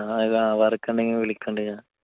ആ ആ. work ഉണ്ടെങ്കിൽ വിളിക്കുന്നുണ്ട് ഞാൻ.